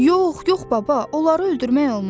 Yox, yox baba, onları öldürmək olmaz!